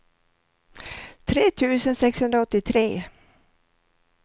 tre tusen sexhundraåttiotre